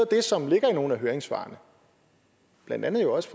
det som ligger i nogle af høringssvarene blandt andet også